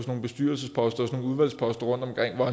nogle bestyrelsesposter og udvalgsposter rundtomkring hvor